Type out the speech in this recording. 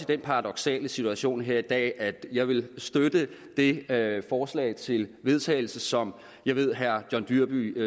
den paradoksale situation her i dag at jeg vil støtte det forslag til vedtagelse som jeg ved herre john dyrby